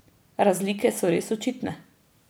Razlike so res očitne.